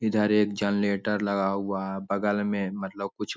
इधर के जनरेटर लगा हुआ है बगल मे मतलब कुछ --